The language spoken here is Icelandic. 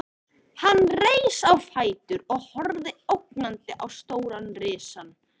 Hann reis á fætur og horfði ógnandi á stóran risann.